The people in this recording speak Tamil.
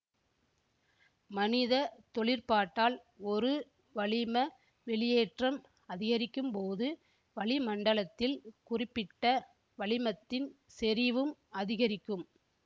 மனிதத் தொழிற்பாட்டால் ஒரு வளிம வெளியேற்றம் அதிகரிக்கும்போது வளிமண்டலத்தில் குறிப்பிட்ட வளிமத்தின் செறிவும் அதிகரிக்கும்